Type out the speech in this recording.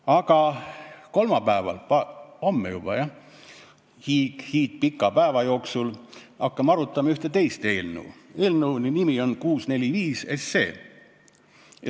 Aga kolmapäeval, homme juba, hakkame hiidpika päeva jooksul arutama ühte teist eelnõu, eelnõu 645.